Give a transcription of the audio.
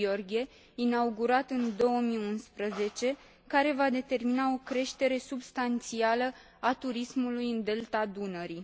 Gheorghe, inaugurat în 2011, care va determina o creștere substanțială a turismului în Delta Dunării.